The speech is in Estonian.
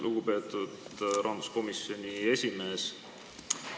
Lugupeetud rahanduskomisjoni esimees!